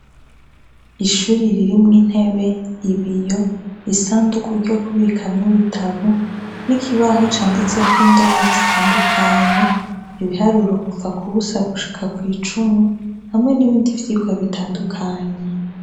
Ishuri ririmwo intebe ibiyo isanduku ryo kubikamwo ibitabu n'ikibaho canditse ko indome zitandukanye ibiharuro kuva kubusa gushika kw'icumi hamwe n'ibindi vyiko bitandukanye.